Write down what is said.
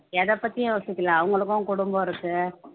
எதைப்பத்தியும் யோசிக்கலை அவங்களுக்கும் குடும்பம் இருக்கு